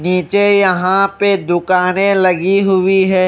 नीचे यहां पे दुकानें लगी हुई हैं।